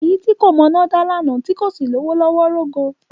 Èyí tí kò mọná dá lánàá tí kò sì lówó lọ́wọ́ rógo.